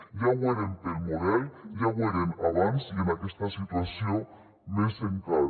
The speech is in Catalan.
ja ho eren pel model ja ho eren abans i en aquesta situació més encara